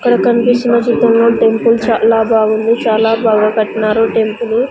ఇక్కడ కన్పిస్తున్న చిత్రంలో టెంపుల్ చాలా బాగుంది చాలా బాగా కట్నారు టెంపులు .